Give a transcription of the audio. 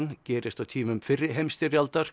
gerist á tímum fyrri heimsstyrjaldar